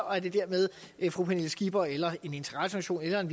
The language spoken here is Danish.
og at det dermed er fru pernille skipper eller en interesseorganisation